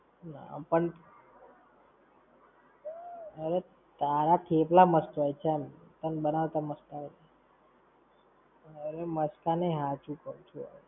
પણ, અરે, તારા થેપલા મસ્ત હોય ચલ, તને બનાવતા મસ્ત આવડે. અરે માસ્ક નઈ, હાચુ કવ છું હવે.